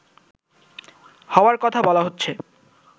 হওয়ার কথা বলা হচ্ছে